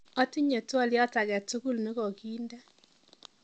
otinye twolyot agetugul negoginde